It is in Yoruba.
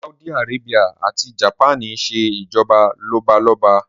Sáúdí arábíà ati Japaní ńṣe ìjọba lọ́balọ́ba